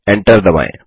Enter दबाएँ